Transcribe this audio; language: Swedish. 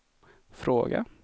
fråga